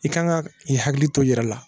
I kan ka i hakili to i yɛrɛ la